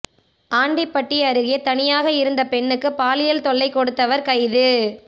ஆண்டிப்பட்டி அருகே தனியாக இருந்த பெண்ணுக்கு பாலியல் தொல்லை கொடுத்தவர் கைது